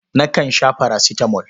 Nakan sha farasitamol.